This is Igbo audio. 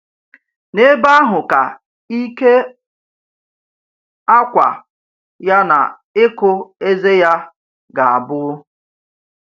N’ebe ahụ ka ịkè ákwá ya na ịkụ ezé ya gà-abụ.